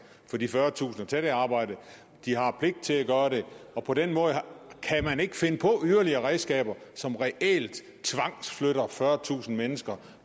for de fyrretusind at tage det arbejde og de har pligt til at gøre det på den måde kan man ikke finde på yderligere redskaber som reelt tvangsflytter fyrretusind mennesker